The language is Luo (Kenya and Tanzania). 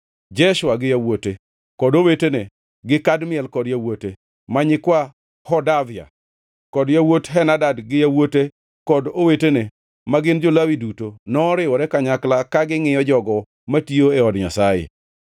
Jeshua gi yawuote kod owetene gi Kadmiel kod yawuote (ma nyikwa Hodavia) kod yawuot Henadad gi yawuote kod owetene, ma gin jo-Lawi duto, noriwore kanyakla ka gingʼiyo jogo matiyo e od Nyasaye.